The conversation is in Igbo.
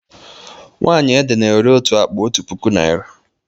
Nwaanyị ede na-ere otu akpa otu puku naịra.